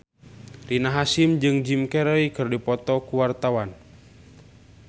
Rina Hasyim jeung Jim Carey keur dipoto ku wartawan